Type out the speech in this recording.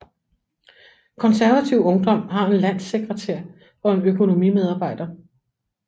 Konservativ Ungdom har en landssekretær og en økonomimedarbejder